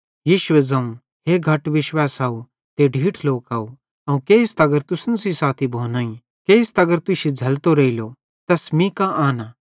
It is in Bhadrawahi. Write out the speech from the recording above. यीशुए ज़ोवं हे घट विश्वावैसव ते ढीठ लोकव अवं केइस तगर तुसन सेइं साथी भोनोईं केइस तगर तुश्शी झ़ैलतो रेइलो तै मीं कां आनां